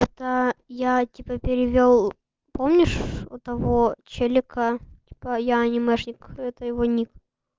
это я типа перевёл помнишь того челика типо я анимешник это его ник